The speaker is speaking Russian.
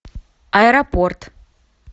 аэропорт